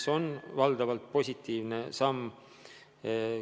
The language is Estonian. See on valdavalt positiivne samm.